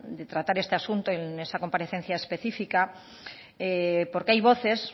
de tratar este asunto en esa comparecencia específica porque hay voces